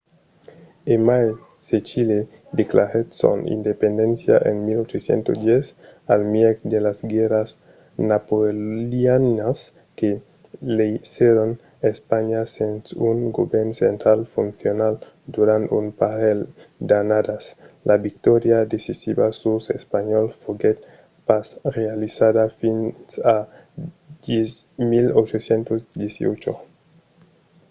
e mai se chile declarèt son independéncia en 1810 al mièg de las guèrras napoleonianas que laissèron espanha sens un govèrn central foncional durant un parelh d'annadas la victòria decisiva suls espanhòls foguèt pas realizada fins a 1818